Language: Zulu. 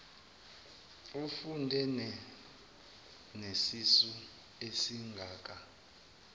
ufunde nesisu esingaka